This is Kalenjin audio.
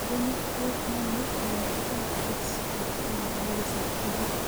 Murenik ko name linkitab X atkan kora kosir tibik.